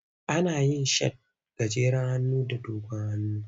Ana yin shat mai dogon hannu da mai gajeren hannu.